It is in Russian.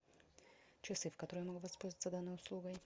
часы в которые я могу воспользоваться данной услугой